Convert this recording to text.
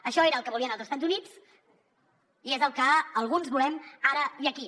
això era el que volien els estats units i és el que alguns volem ara i aquí